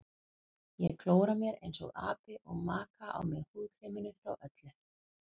Ég klóra mér einsog api og maka á mig húðkreminu frá Öllu.